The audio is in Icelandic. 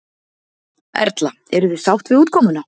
Erla: Eruð þið sátt við útkomuna?